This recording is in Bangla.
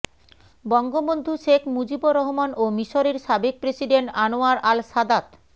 বঙ্গবন্ধু শেখ মুজিবুর রহমান ও মিসরের সাবেক প্রেসিডেন্ট আনোয়ার আল সাদাত